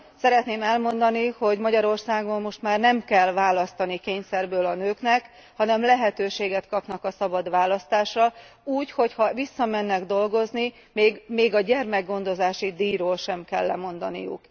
Szeretném elmondani, hogy Magyarországon most már nem kell választani kényszerből a nőknek, hanem lehetőséget kapnak a szabad választásra, úgy, hogyha visszamennek dolgozni, még a gyermekgondozási díjról sem kell lemondaniuk.